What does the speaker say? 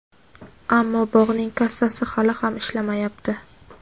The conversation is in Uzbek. ammo bog‘ning kassasi hali ham ishlamayapti.